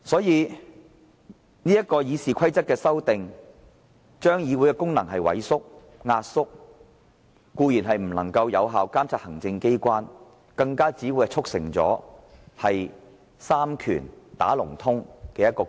由此可見，《議事規則》的修訂建議會令議會的功能萎縮，議員固然無法有效監察行政機關，更會促成三權"打龍通"的情況。